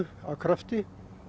af krafti